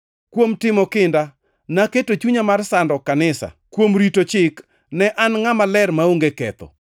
kuom timo kinda, naketo chunya mar sando kanisa, kuom rito chik ne an ngʼama ler, maonge ketho.